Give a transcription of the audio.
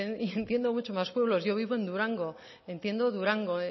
y entiendo muchos más pueblos yo vivo en durango entiendo durango